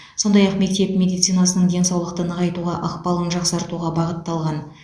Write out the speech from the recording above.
сондай ақ мектеп медицинасының денсаулықты нығайтуға ықпалын жақсартуға бағытталған